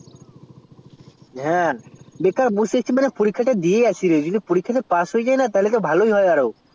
হ্যা বেকার বসে আছি হ্যা বেকার বসে আছি পরীক্ষাটা দিয়া আসি রে যদি পরীক্ষা তে pass হইয়া যাই না তাহলে তো ভালোই আরো